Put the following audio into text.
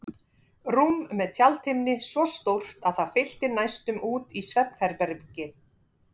Rúm með tjaldhimni svo stórt að það fyllti næstum út í svefnherbergið.